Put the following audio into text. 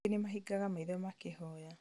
angĩ nĩmahingaga maitho makĩhoya